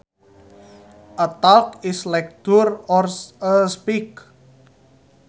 A talk is a lecture or a speech